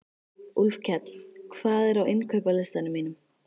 Úlfkell, hvað er á innkaupalistanum mínum?